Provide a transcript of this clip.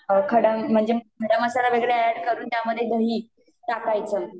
खडा म्हणजे, खडा मसाला वेगळा अॅड करून त्यामध्ये दही टाकायच